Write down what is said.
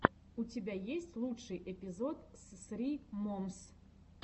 у тебя есть лучший эпизод ссри момс